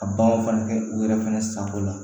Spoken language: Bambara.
Ka baganw fana kɛ u yɛrɛ fɛnɛ sanko la